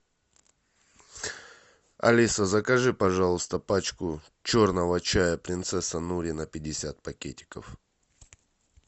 алиса закажи пожалуйста пачку черного чая принцесса нури на пятьдесят пакетиков